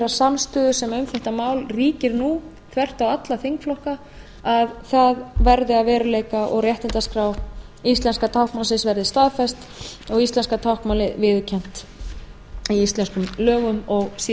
samstöðu sem um þetta mál ríkir nú þvert á alla þingflokka að það verði að veruleika og réttindaskrá íslenska táknmálsins verði staðfest og íslenska táknmálið viðurkennt í íslenskum lögum og síðar stjórnarskrá